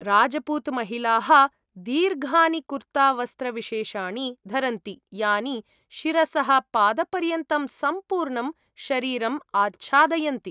राज्पूत् महिलाः दीर्घानि कुर्तावस्त्रविशेषाणि धरन्ति यानि शिरसः पादपर्यन्तं सम्पूर्णं शरीरम् आच्छादयन्ति।